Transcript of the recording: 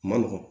Ma nɔgɔn